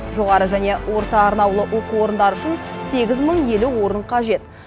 жоғары және орта арнаулы оқу орындары үшін сегіз мың елу орын қажет